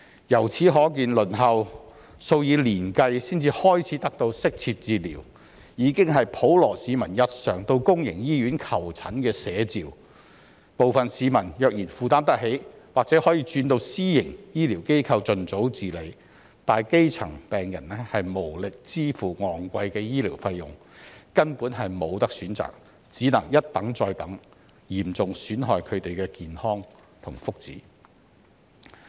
由此可見，輪候數以年計才能開始得到適切治療，已是普羅市民日常到公營醫院求診的寫照，部分市民若然負擔得起，或許會轉到私營醫療機構盡早治理；但基層病人無力支付昂貴的醫療費用，根本沒有選擇，只能一等再等，嚴重損害他們的健康和福祉。